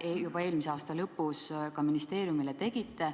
te juba eelmise aasta lõpus ministeeriumile ettepaneku tegite.